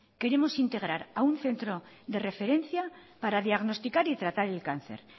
queremos integrar a un centro de referencia para diagnosticar y tratar el cáncer